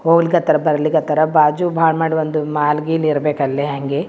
ಹೋಲ್ಕತ್ತರ ಬರ್ಲಿಕತ್ತರ ಬಾಜು ಬಾಳ್ ಮಾಡಿ ಒಂದು ಮಾಲ್ ಗೀಲ್ ಇರಬೇಕು ಅಲ್ಲೆ ಹಂಗೆ .